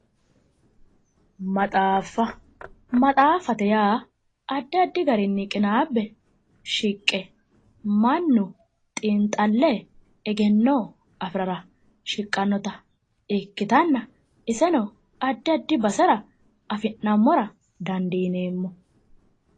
Maxaaffa maxaaffate yaa addi addi garinni qinaabe shiqqe mannu xiinxalle egenno afirara shiqqannota ikkitanna iseno addi addi basera afi'nammora dandiineemmo